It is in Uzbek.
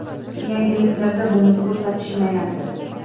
Yangiliklarda buni ko‘rsatishmayapti.